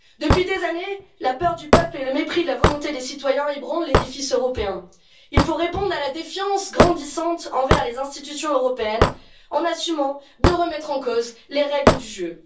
Depuis des années, la peur du peuple et le mépris de la volonté des citoyens ébranlent l'édifice européen. Il faut répondre à la défiance grandissante envers les institutions européennes en assumant de remettre en cause les règles du jeu.